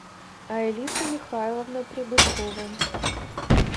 аэлита михайловна прибыткова